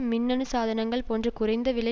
மின்னணு சாதனங்கள் போன்ற குறைந்த விலை